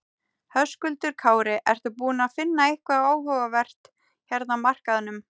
Höskuldur Kári: Ertu búinn að finna eitthvað áhugavert hérna á markaðnum?